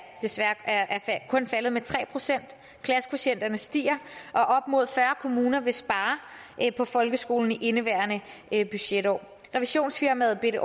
kun faldet med tre procent klassekvotienterne stiger og op mod fyrre kommuner vil spare på folkeskolen i indeværende budgetår revisionsfirmaet